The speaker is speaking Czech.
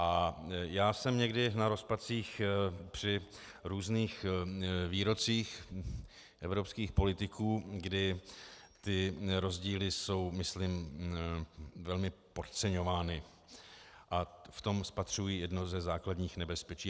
A já jsem někdy na rozpacích při různých výrocích evropských politiků, kdy ty rozdíly jsou myslím velmi podceňovány, a v tom spatřuji jedno ze základních nebezpečí.